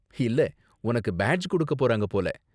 இல்ல, உனக்கு பேட்ஜ் கொடுக்க போறாங்க போல.